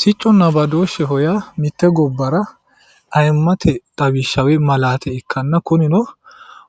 Sicconna badoosheho yaa mite gobbara ayimmate xawishsha woyi malaate ikkanna kunino